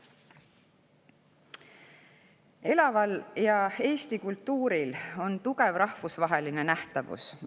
Elaval Eesti kultuuril on tugev rahvusvaheline nähtavus.